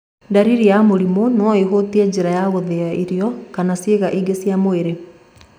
Ndariri ya mũrimũ no ũhutie njĩra ya gũthĩa irio kana ciĩga ingĩ cia mwĩrĩ.